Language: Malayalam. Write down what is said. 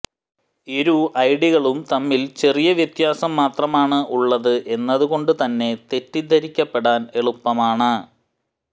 ഇരു ഐഡികളും തമ്മിൽ ചെറിയ വ്യത്യാസം മാത്രമാണ് ഉള്ളത് എന്നതുകൊണ്ട് തന്നെ തെറ്റിദ്ധരിക്കപ്പെടാൻ എളുപ്പമാണ്